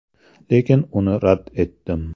Lekin uni rad etdim.